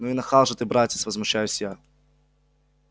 ну и нахал же ты братец возмущаюсь я